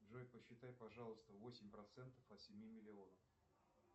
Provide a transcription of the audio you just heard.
джой посчитай пожалуйста восемь процентов от семи миллионов